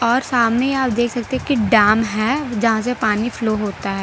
और सामने आप देख सकते कि डैम है जहां से पानी फ्लो होता है।